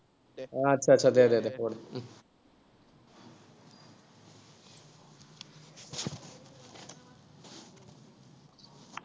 আচ্ছা আচ্ছা দে দে দে কৰ উম